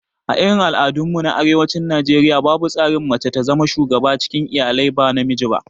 A irin al'adun mu na arewacin Najeriaya, babu tsarin mace ta zama shuga cikin iyalai ba namiji ba